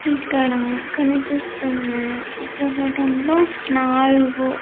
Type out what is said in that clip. ఇక్కడ కనిపిస్తున్న చిత్రపటంలో నాలుగు-